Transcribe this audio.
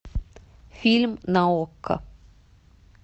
фильм на окко